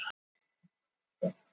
Febrúar tvenna fjórtán ber